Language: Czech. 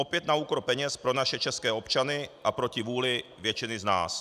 Opět na úkor peněz pro naše české občany a proti vůli většiny z nás.